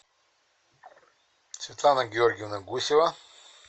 светлана георгиевна гусева